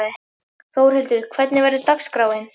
Þórhildur, hvernig verður dagskráin?